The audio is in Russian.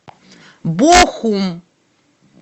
бохум